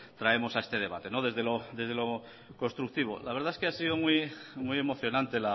traemos a este debate desde lo constructivo la verdad es que ha sido muy emocionante